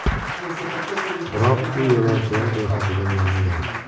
Biroq u yo‘lovchilar ro‘yxatida bo‘lmagan.